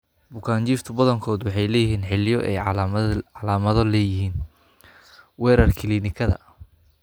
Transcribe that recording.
Bukaanjiifka badankoodu waxay leeyihiin xilliyo ay calaamado leeyihiin (weerar kiliinikada).